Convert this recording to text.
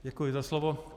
Děkuji za slovo.